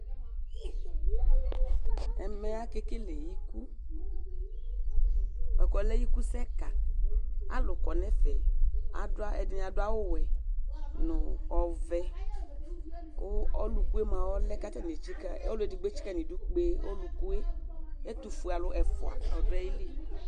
Ɛmɛ aka ekele ikù, buaku ɔlɛ ikusɛ kã, alu kɔnu ɛfɛ, ɛdini adu awù wɛ nu ɔvɛ, ku ɔlukue mua ɔlɛ k'atani etsika, ɔlu edigbo etsika n' idú gbé ɔlukue, ɛtufue alu ɛfua ɔdu ayili